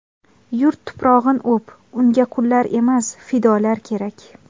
Yurt tuprog‘in o‘p, Unga qullar emas, fidolar kerak.